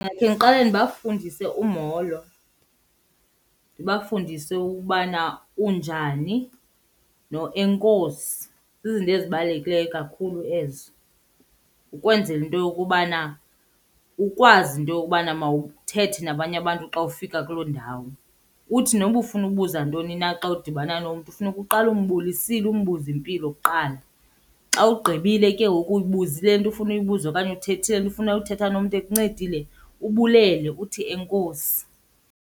Ndingake ndiqale ndibafundise umolo. Ndibafundise ukubana, unjani noenkosi. Zizinto ezibalulekileyo kakhulu ezo ukwenzela into yokubana ukwazi into yokubana mawuthethe nabanye abantu xa ufika kuloo ndawo. Uthi noba ufuna ubuza ntoni na xa udibana nomntu funeka uqale umbulisile umbuzo impilo kuqala. Xa ugqibile ke ngoku uyibuzile le nto ufuna uyibuza okanye uthethile le nto ufuna uthetha nomntu ekuncedile, ubulele uthi enkosi.